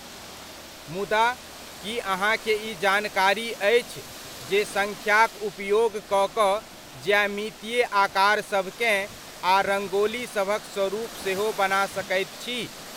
मुदा, की अहाँकेँ ई जानकारी अछि जे सङ्ख्याक उपयोग कऽ कऽ ज्यामितीय आकारसभकेँ आ रंगोली सभक स्वरुप सेहो बना सकैत छी?